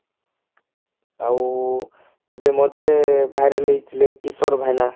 ଆଉ ଏବେ ମଝିରେ ବାହାରି ହାଉଥିଲେ କିଶୋର ଭାଇନା